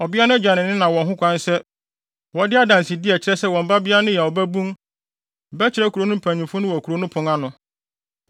a, ɔbea no agya ne ne na wɔ ho kwan sɛ wɔde adansede a ɛkyerɛ sɛ wɔn babea no yɛ ɔbabun bɛkyerɛ kurow no mpanyimfo wɔ kurow no pon.